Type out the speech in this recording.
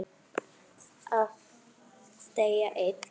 Að deyja einn.